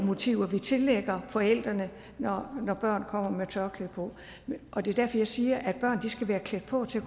motiver vi tillægger forældrene når børn kommer med tørklæde på og det er derfor jeg siger at børn skal være klædt på til